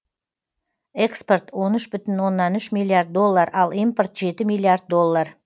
экспорт он үш бүтін оннан үш миллиард доллар ал импорт жеті миллиард доллар